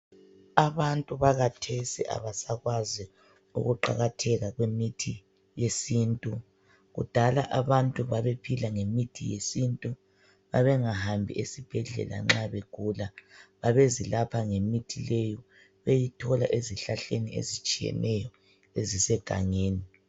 Abantu bakathesi abasakwazi ukuqakatheka kwemithi yesintu. Kudala abantu babephila ngemithi yesintu. Babengahambi esibhedlela nxa begula. Babezilapha ngemithi leyo, beyithola ezihlahleni ezitshiyeneyo ezisegangeni.